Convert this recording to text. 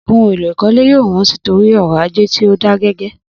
Ohun èlò ìkọ́lé yóò wọ́n sí torí ọrọ̀ ajé tí ó da gẹgẹ